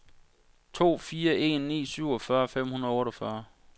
to fire en ni syvogfyrre fem hundrede og otteogfyrre